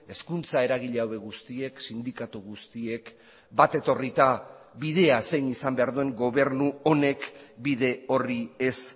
hezkuntza eragile hauek guztiek sindikatu guztiek bat etorrita bidea zein izan behar duen gobernu honek bide horri ez